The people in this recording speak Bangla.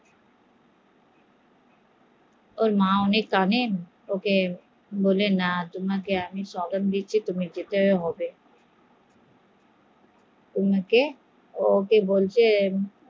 ওর মা অনেক কানেন তোমাকে আমি জবান দিচ্ছি তোমাকে যেতে হবে